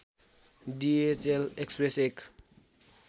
DHL express एक